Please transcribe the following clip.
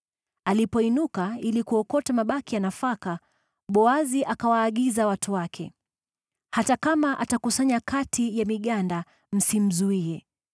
Alipoinuka ili kuokota mabaki ya nafaka, Boazi akawaagiza watu wake, “Hata kama atakusanya kati ya miganda, msimzuie.